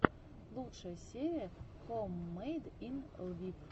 лучшая серия хоуммэйд ин лвив